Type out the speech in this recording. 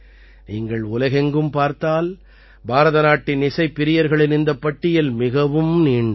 நீங்கள் உலகெங்கும் பார்த்தால் பாரதநாட்டின் இசைப் பிரியர்களின் இந்தப் பட்டியல் மிகவும் நீண்டது